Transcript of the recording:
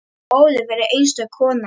Ólöf var einstök kona.